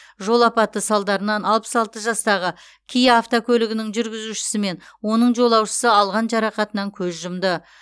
жол апаты салдарынан алпыс алты жастағы киа автокөлігінің жүргізушісі мен оның жолаушысы алған жарақатынан көз жұмды